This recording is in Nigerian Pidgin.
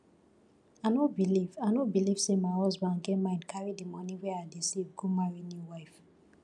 i no believe i no believe say my husband get mind carry the money wey i dey save go marry new wife